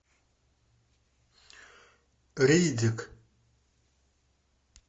риддик